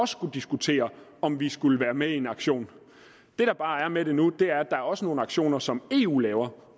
skulle diskutere om vi skulle være med i en aktion det der bare er med det nu er at der også er nogle aktioner som eu laver